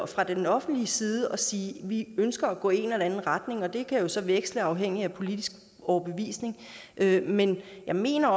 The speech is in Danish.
fra det offentliges side og sige at vi ønsker at gå i en eller anden retning og det kan så veksle afhængigt af politisk overbevisning men jeg mener